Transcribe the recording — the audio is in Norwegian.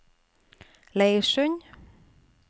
Leirsund